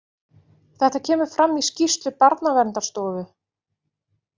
Þetta kemur fram í skýrslu Barnaverndarstofu